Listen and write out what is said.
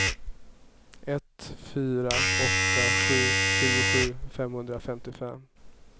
ett fyra åtta sju tjugosju femhundrafemtiofem